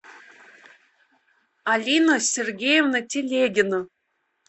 алина сергеевна телегина